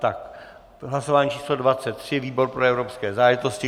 Tak hlasování číslo 23, výbor pro evropské záležitosti.